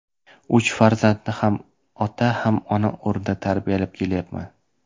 Uch farzandni ham ota, ham ona o‘rnida tarbiyalab kelyapman.